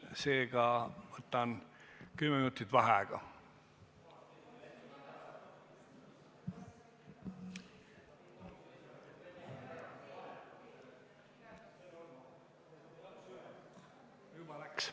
Seega võtan kümme minutit vaheaega.